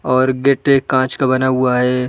और गेट ये कांच का बना हुआ है।